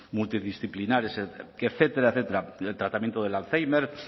multidisciplinares etcétera el tratamiento del alzheimer